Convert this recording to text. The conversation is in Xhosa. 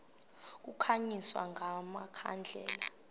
kukhanyiswe nga makhandlela